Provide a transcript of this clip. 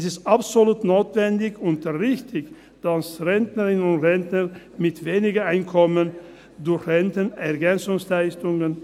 Es ist absolut notwendig und richtig, dass Rentnerinnen und Rentner mit wenig Einkommen durch Renten EL erhalten.